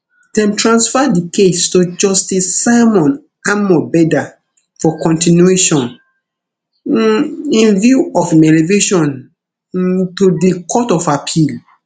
dem transfer di case to justice simon amobeda for continuation um in view of im elevation um to di court of appeal